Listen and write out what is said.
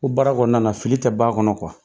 Ko baara kɔnɔna na fili tɛ ban kɔnɔ